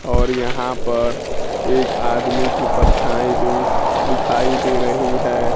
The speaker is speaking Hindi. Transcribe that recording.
और यहां पर एक आदमी की परछाई भी दिखाई दे रही है।